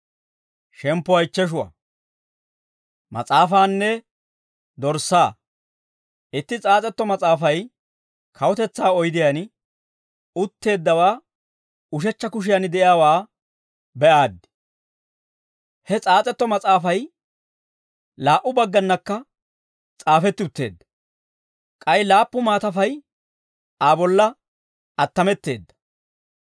Itti s'aas'etto mas'aafay kawutetsaa oydiyaan utteeddawaa ushechcha kushiyan de'iyaawaa be'aaddi; he s'aas'etto mas'aafay laa"u bagganakka s'aafetti utteedda; k'ay laappu maatafay Aa bolla attametteedda.